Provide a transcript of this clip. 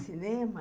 – Cinema?